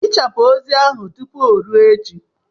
Hichapụ ozi ahụ tụpụ o ruo echi!